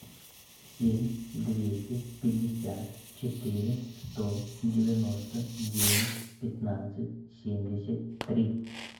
семь двести пятьдесят четыре сто девяносто девять пятнадцать семьдесят три